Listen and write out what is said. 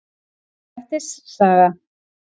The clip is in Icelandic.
Grettis saga.